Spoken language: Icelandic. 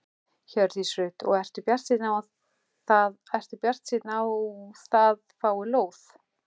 Hjördís Rut: Og ertu bjartsýnn á það að fá lóð?